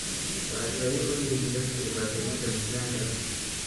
Waxay faa'iido u leeyihiin dadka dhibaatooyinka miisaanka leh.